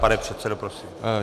Pane předsedo, prosím.